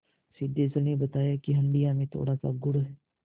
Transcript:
सिद्धेश्वरी ने बताया कि हंडिया में थोड़ासा गुड़ है